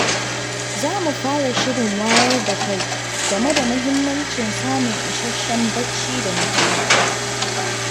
Za mu fara shirin wayar da kai game da mahimmancin samun isasshen bacci da nutsuwa.